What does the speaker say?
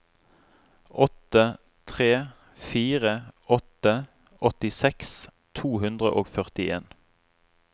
åtte tre fire åtte åttiseks to hundre og førtien